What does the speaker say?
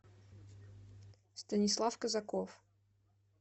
станислав казаков